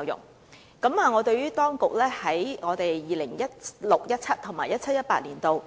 當局表示會在 2016-2017 年度和 2017-2018 年度